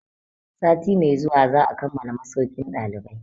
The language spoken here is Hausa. Sati mai zuwa za a kammala masaukin ɗalibai.